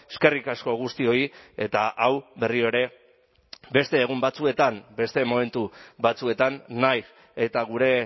eskerrik asko guztioi eta hau berriro ere beste egun batzuetan beste momentu batzuetan nahiz eta gure